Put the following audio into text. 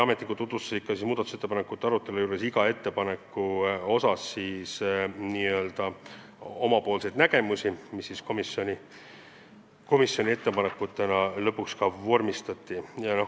Ametnikud tutvustasid iga muudatusettepaneku puhul oma seisukohta ja lõpuks vormistati osa ettepanekuid komisjoni ettepanekutena.